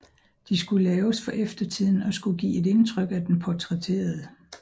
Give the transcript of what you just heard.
De skulle laves for eftertiden og skulle give et indtryk af den portrætterede